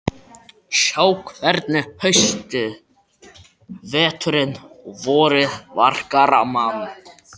Sjá hvernig haustið, veturinn og vorið verkar á mann.